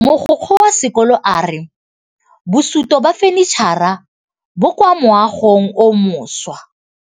Mogokgo wa sekolo a re bosutô ba fanitšhara bo kwa moagong o mošwa.